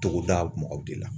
Togoda mɔgɔw de la